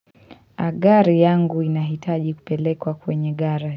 Agari yangu inahitaji kupelekwa kwenye garage.